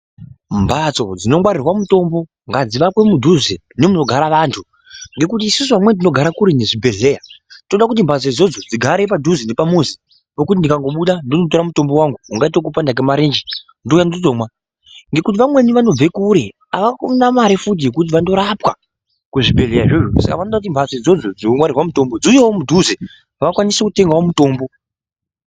Mphatso dzinongwarirwe mutombo, ngadzivakwe mudhuze nemunogara vanthu, ngekuti isusu vamweni tinogara kuretu nezvibhedhlera, toda kuti mphatso idzodzo dzigare padhuze nepmuzi, pekuti ndikatobuda, ndondotora mutombo wangu, ungaite weku panda kwemarenje, ndouya ndotomwa. Ngekuti vamweni vanobva kure, avana mare futi yekuti vandorapwa kuzvibhedhlera zvozvo, saka vanoda kuti mphatso idzodzo dzinongwarirwa mutombo, dziuyewo mudhuze, vakwanise kutengawo mutombo.